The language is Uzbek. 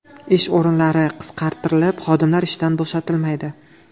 Ish o‘rinlari qisqartirilib, xodimlar ishdan bo‘shatilmaydi.